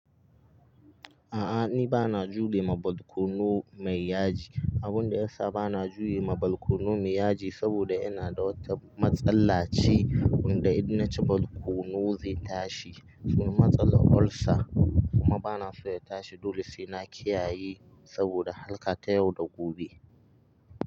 A'a ni bana jure ma balkono mai yaji. Abunda yasa bana jure ma balkono mai yaji saboda ina da wata matsala ce, wanda idan naci balkono zai tashi. Sunan matsalar olsa kuma bana so ya tashi. Dole sai na kiyayi saboda harka ta yau da gobe.